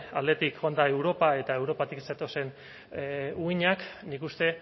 aldetik joan da europa eta europatik zetozen uhinak nik uste